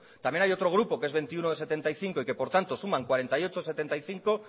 también hay otro grupo que es veintiuno de setenta y cinco y que por tanto suman cuarenta y ocho de setenta y cinco